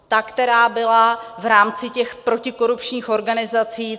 Ta, která byla v rámci těch protikorupčních organizací.